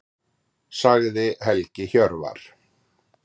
Sagði Helgi Hjörvar.